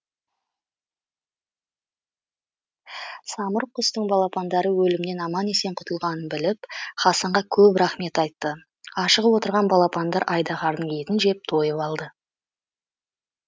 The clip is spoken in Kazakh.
самұрық құстың балапандары өлімнен аман есен құтылғанын біліп хасанға көп рақмет айтты ашығып отырған балапандар айдаһардың етін жеп тойып алды